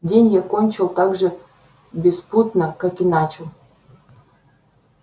день я кончил так же беспутно как и начал